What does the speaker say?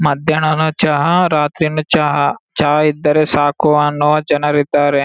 ಮದ್ಯಾನನು ಚಾಹ ರಾತ್ರಿನು ಚಾಹ ಚಾಹ ಇದ್ದರೆ ಸಾಕು ಅನ್ನುವ ಜನರಿದ್ದಾರೆ.